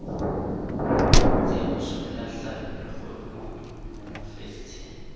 kwatsi ya bosollahlapi kgodumodumo mofetshe